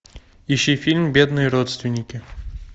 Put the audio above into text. ищи фильм бедные родственники